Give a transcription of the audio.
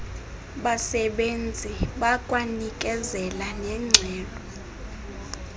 basebenzi bakwanikezela nengxelo